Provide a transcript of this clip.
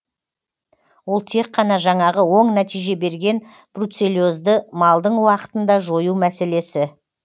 ол тек қана жаңағы оң нәтиже берген бруцеллезді малдың уақытында жою мәселесі